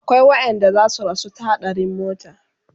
akwai waƴanda zasu rasu ta haɗarin mota